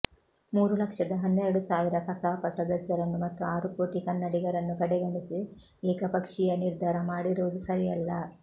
ಮೂರು ಲಕ್ಷದ ಹನ್ನೆರಡು ಸಾವಿರ ಕಸಾಪ ಸದಸ್ಯರನ್ನು ಮತ್ತು ಆರು ಕೋಟಿ ಕನ್ನಡಿಗರನ್ನು ಕಡೆಗಣಿಸಿ ಏಕಪಕ್ಷೀಯ ನಿರ್ಧಾರ ಮಾಡಿರುವುದು ಸರಿಯಲ್ಲ